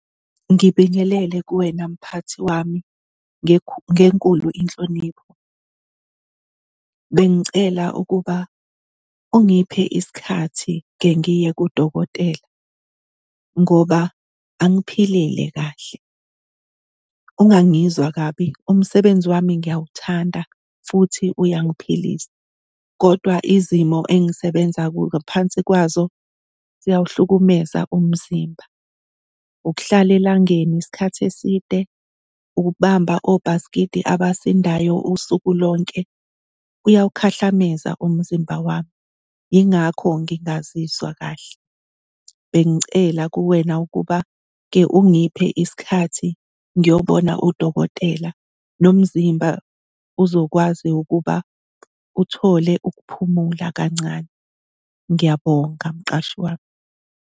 Ngibingelele kuwena, mphathi wami. Ngenkulu inhlonipho bengicela ukuba ungiphe isikhathi kengiye kudokotela ngoba angiphilile kahle. Ungangizwa kabi, umsebenzi wami ngiyawuthanda futhi uyangiphilisa kodwa izimo engisebenza ngaphansi kwazo ziyawuhlukumeza umzimba. Ukuhlala elangeni isikhathi eside, ukubamba obhasikidi abasindayo usuku lonke kuyawukhahlameza umzimba wami, yingakho ngingazizwa kahle. Bengicela kuwena ukuba ke ungiphe isikhathi ngiyobona udokotela, nomzimba uzokwazi ukuba uthole ukuphumula kancane. Ngiyabonga, mqashi wami.